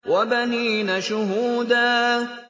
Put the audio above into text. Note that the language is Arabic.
وَبَنِينَ شُهُودًا